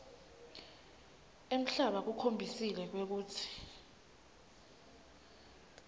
emhlaba kukhombisile kwekutsi